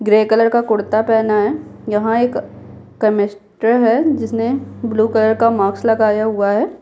Grey colour का कुर्ता पहना है यहाँ एक केमस्ट है जिसने ब्लू कलर का मार्क्स लगाया हुआ है।